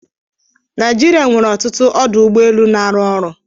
Naịjirịa nwere ọtụtụ ọdụ ụgbọ elu na-arụ ọrụ